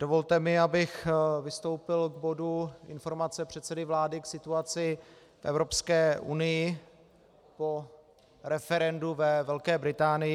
Dovolte mi, abych vystoupil k bodu Informace předsedy vlády k situaci v Evropské unii po referendu ve Velké Británii.